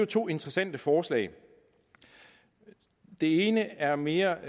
to interessante forslag det ene er mere